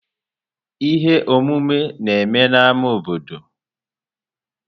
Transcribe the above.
Ihe omume na-eme n'ámá obodo.